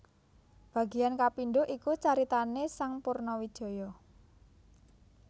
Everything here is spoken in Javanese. Bagian kapindho iku caritané sang Purnawijaya